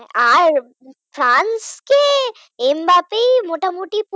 আর ফ্রান্সকে এমবাপি মোটামুটি পুরো